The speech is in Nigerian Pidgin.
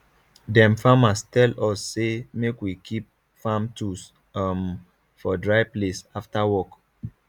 dem farmer tell us say make we keep farm tools um for dry place after work